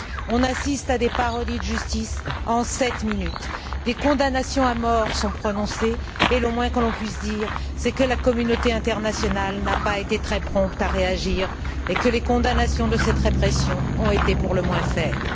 On assiste à des parodies de justice en sept minutes, des condamnations à mort sont prononcées et le moins que l'on puisse dire, c'est que la communauté internationale n'a pas été très prompte à réagir et que les condamnations de cette répression ont été pour le moins faibles.